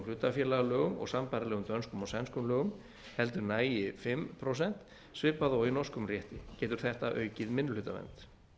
hlutafélagalögum og sambærilegum dönskum og sænskum lögum heldur nægi fimm prósent svipað og í norskum rétti getur þetta aukið minnihlutavernd